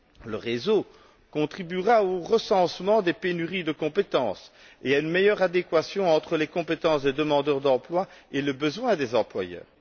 Le réseau contribuera au recensement des pénuries de compétences et à une meilleure adéquation entre les compétences des demandeurs d'emploi et les besoins des employeurs.